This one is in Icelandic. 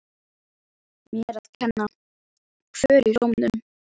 Mér að kenna- Kvöl í rómnum.